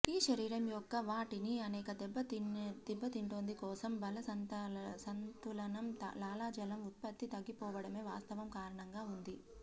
ఈ శరీరం యొక్క వాటిని అనేక దెబ్బతింటుంది కోసం జల సంతులనం లాలాజలం ఉత్పత్తి తగ్గిపోవడమే వాస్తవం కారణంగా ఉంది